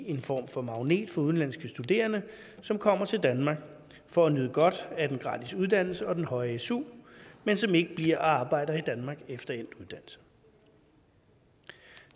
en form for magnet for udenlandske studerende som kommer til danmark for at nyde godt af den gratis uddannelse og den høje su men som ikke bliver og arbejder i danmark efter endt uddannelse